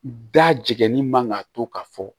Da jiginni man ka to ka fɔ